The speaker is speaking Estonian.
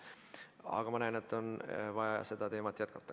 Aga ma näen, et on vaja seda teemat jätkata.